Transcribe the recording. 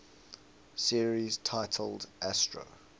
series titled astro